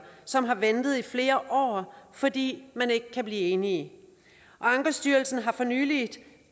som har ventet i flere år fordi man ikke kan blive enige ankestyrelsen har for nylig